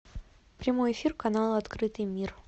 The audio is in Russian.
прямой эфир канала открытый мир